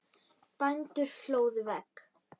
Bændur hlóðu vegg.